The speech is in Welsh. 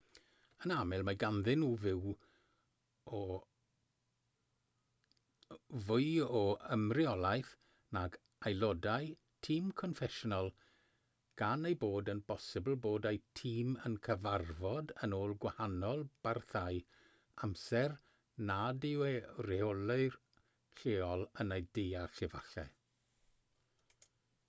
yn aml mae ganddyn nhw fwy o ymreolaeth nag aelodau tîm confensiynol gan ei bod yn bosibl bod eu tîm yn cyfarfod yn ôl gwahanol barthau amser nad yw eu rheolwyr lleol yn eu deall efallai